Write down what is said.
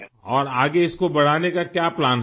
اور آگے اس کو بڑھانے کا کیا منصوبہ ہے؟ آپ کا